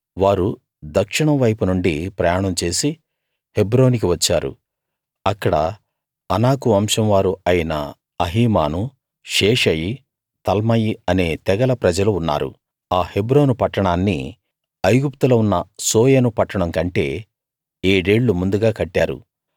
వారు దక్షిణం వైపు నుండి ప్రయాణం చేసి హెబ్రోనుకి వచ్చారు అక్కడ అనాకు వంశం వారు అయిన అహీమాను షేషయి తల్మయి అనే తెగల ప్రజలు ఉన్నారు ఆ హెబ్రోను పట్టణాన్ని ఐగుప్తులో ఉన్న సోయను పట్టణం కంటే ఏడేళ్ళు ముందుగా కట్టారు